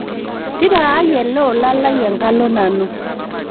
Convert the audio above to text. tipikaaki ele olaa lai enkalo nanu